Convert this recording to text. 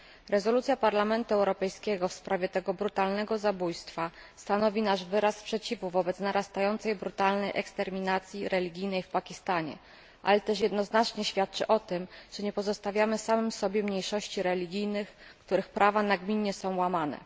Rezolucja Parlamentu Europejskiego w sprawie tego brutalnego zabójstwa stanowi nasz wyraz sprzeciwu wobec narastającej brutalnej eksterminacji religijnej w Pakistanie, ale też jednoznacznie świadczy o tym, że nie pozostawiamy samym sobie mniejszości religijnych, których prawa są nagminnie łamane.